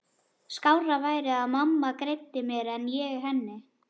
Skárra væri að mamma greiddi mér en ég henni.